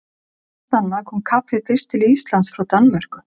Eins og margt annað kom kaffið fyrst til Íslands frá Danmörku.